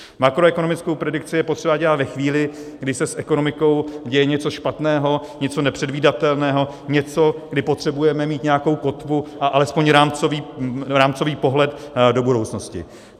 Makroekonomickou predikci je potřeba dělat ve chvíli, kdy se s ekonomikou děje něco špatného, něco nepředvídatelného, něco, kdy potřebujeme mít nějakou kotvu a alespoň rámcový pohled do budoucnosti.